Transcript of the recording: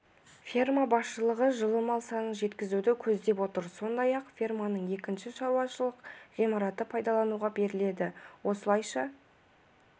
ферма басшылығы жылы мал санын жеткізуді көздеп отыр сондай-ақ ферманың екінші шаруашылық ғимараты пайдалануға беріледі осылайша